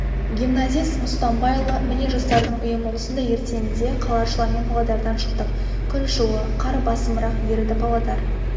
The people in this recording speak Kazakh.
гимназист мұстамбайұлы міне жастардың ұйымы осындай ертеңінде қалашылармен павлодардан шықтық күн жылы қар басымырақ еріді павлодар